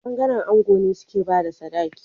Bangaren ango ne suke bada sadaki